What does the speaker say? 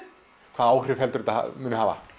hvaða áhrif heldurðu að þetta muni hafa